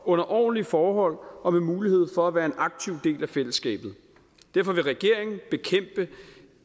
under ordentlige forhold og med mulighed for at være en aktiv del af fællesskabet derfor vil regeringen bekæmpe